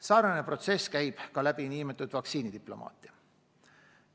Samasugune toon iseloomustab ka nn vaktsiinidiplomaatiat.